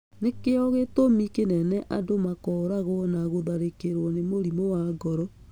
Nĩ kĩo gĩtũmi kĩnene andũ makoragwo na gũtharĩkĩro nĩ mũrimũ wa ngoro.